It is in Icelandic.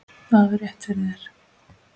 Þú hafðir rétt fyrir þér.